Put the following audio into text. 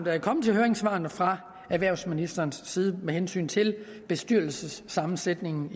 er kommet til høringssvarene fra erhvervsministerens side med hensyn til bestyrelsessammensætningen